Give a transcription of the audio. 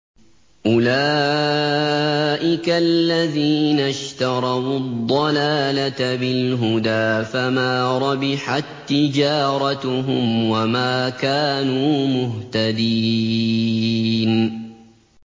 أُولَٰئِكَ الَّذِينَ اشْتَرَوُا الضَّلَالَةَ بِالْهُدَىٰ فَمَا رَبِحَت تِّجَارَتُهُمْ وَمَا كَانُوا مُهْتَدِينَ